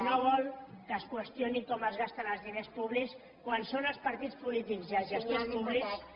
no vol que es qüestioni com es gasten els diners públics quan són els partits polítics i els gestors públics